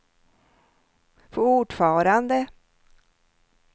fortfarande